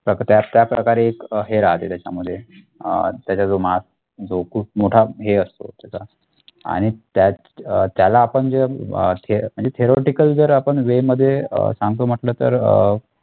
त्या प्रकारे एक हे राहते त्याच्यामध्ये अह त्याचा जो Mass जो खूप मोठा हे असतो त्याचा आणि त्या अह त्याला आपण जे अह म्हणजे theoretical जर आपण way मध्ये अह सांगतो म्हटल तर अह